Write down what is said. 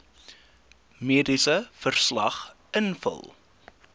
mediese verslag invul